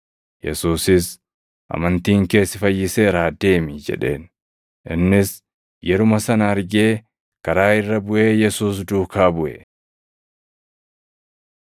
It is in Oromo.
Yesuusis, “Amantiin kee si fayyiseeraa deemi” jedheen. Innis yeruma sana argee karaa irra buʼee Yesuus duukaa buʼe.